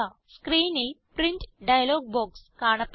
സ്ക്രീനിൽ print dialog box കാണപ്പെടുന്നു